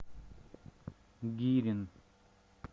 гирин